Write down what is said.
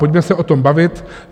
Pojďme se o tom bavit.